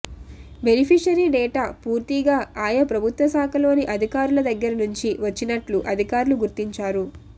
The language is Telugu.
బెనిఫిషరీ డేటా పూర్తిగా ఆయా ప్రభుత్వశాఖలోని అధికారుల దగ్గరి నుంచి వచ్చినట్లు అధికారులు గుర్తించారు